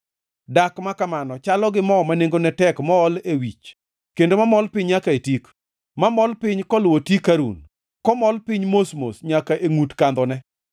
Dak ma kamano chalo gi mo ma nengone tek mool e wich kendo mamol piny nyaka e tik, mamol piny koluwo tik Harun kamol piny mos mos nyaka e ngʼut kandhone.